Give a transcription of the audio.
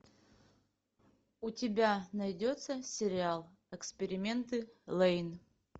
у тебя найдется сериал эксперименты лэйн